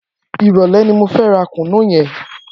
Irọlẹ̀ ni mó fè rà kúnú yèn